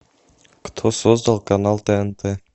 кто создал канал тнт